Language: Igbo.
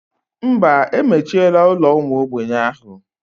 Mba, emechiela ụlọ ụmụ ogbenye ahụ.